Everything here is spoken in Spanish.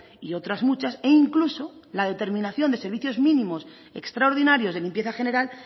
y otras muchas e incluso la determinación de servicios mínimos extraordinarios de limpieza general